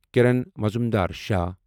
کِرن معظوٗمدار شعو